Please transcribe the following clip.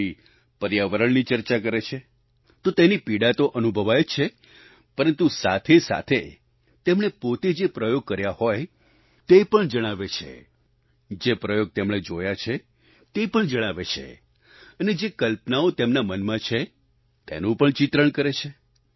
કોઈ પર્યાવરણની ચર્ચા કરે છે તો તેની પીડા તો અનુભવાય જ છે પરંતુ સાથે સાથે તેમણે પોતે જે પ્રયોગ કર્યા હોય તે પણ જણાવે છે જે પ્રયોગ તેમણે જોયા છે તે પણ જણાવે છે અને જે કલ્પનાઓ તેમના મનમાં છે તેનું પણ ચિત્રણ કરે છે